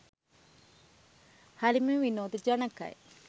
හරිම විනෝද ජනකයි.